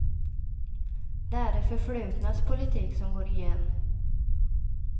Det är det förflutnas politik som går igen.